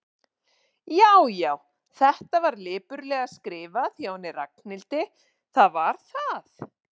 Já, já, þetta var lipurlega skrifað hjá henni Ragnhildi, það var það.